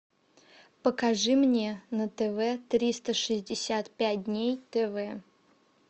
покажи мне на тв триста шестьдесят пять дней тв